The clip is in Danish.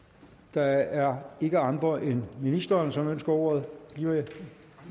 der er ikke andre end ministeren som ønsker ordet klima